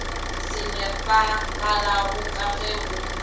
sa nepagalago ka ge go